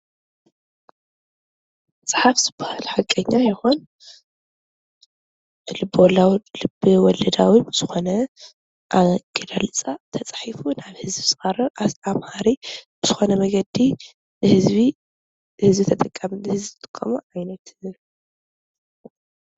ምፅሓፍ ዝበሃል ሓቀኛ ይኩን ልቢ-ወለዳዊ ብዘኮነ ኣገላልፃ ተፃሒፉ ንህዝቢ ዝቀርብ ኣስተማሃሪ ዝኮነ መንገዲ ንህዝቢ ዝጠቅም ዓይነት ፅሕፈት እዩ።